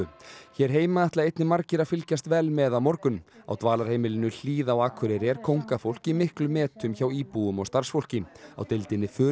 hér heima ætla einnig margir að fylgjast vel með á morgun á dvalarheimilinu Hlíð á Akureyri er kóngafólk í miklum metum hjá íbúum og starfsfólki á deildinni